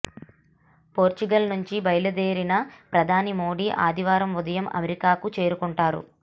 Portugal నుంచి బయలుదేరి ప్రధాని మోడీ ఆదివారం ఉదయం అమెరికాకు చేరుకుంటారు